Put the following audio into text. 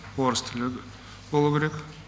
орыс тілі болу керек